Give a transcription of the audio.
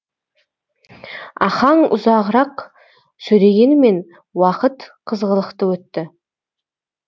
ахаң ұзағырақ сөйлегенімен уақыт қызғылықты өтті